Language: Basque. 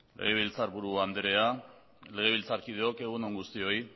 legebiltzarburu andrea legebiltzarkideok egunon guztioi